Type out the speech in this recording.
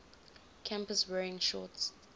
campus wearing shorts